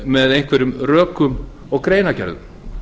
með einhverjum rökum og greinargerðum